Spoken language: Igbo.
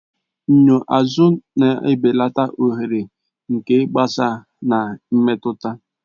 Enyo azụ na-ebelata oghere nke ịgbasa na mmetụta